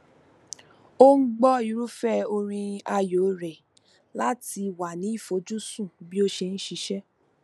ó n gbọ irúfẹ orin ààyò rẹ láti wà ní ìfojúsùn bí ó ṣe n ṣiṣẹ